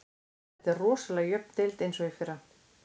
Þetta er rosalega jöfn deild eins og í fyrra.